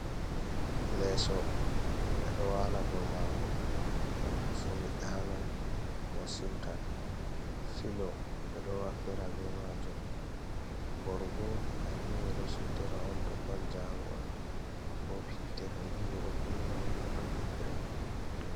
Lesso himɓɓe ɗo wala dou mago ngam to sumi ɗaanan ko siwtan, filo ɓe ɗo waflira be majum, borgo kanjum bo ɓeɗo suddira on to ɗon jangol, bob hitee ɗo kunna on toɗdon nyiɓre.